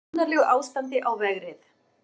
Í annarlegu ástandi á vegrið